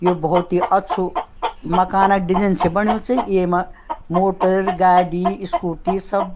ये बहौत ही अच्छु माकन क डीजेन से बण्यु च येमा मोटर गाड़ी स्कूटी सब --